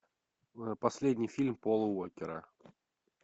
последний фильм пола уокера